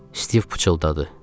Stiv pıçıldadı.